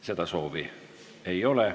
Seda soovi ei ole.